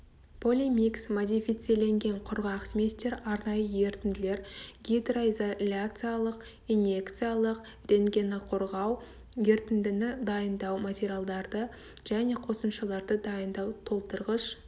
полимикс модифициленген құрғақ сместер арнайы ерітінділер гидроизоляциялық инъекциялық рентгеноқорғау ерітіндіні дайындау материалдарды және қосымшаларды дайындау толтырғыш